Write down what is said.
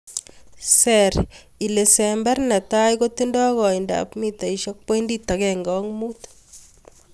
Ser ilesember netai kotinye koindab mitaisiek pointit ageng'e ak mut.